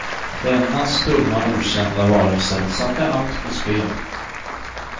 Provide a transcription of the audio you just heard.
Denna stumma okända varelse satte allt på spel.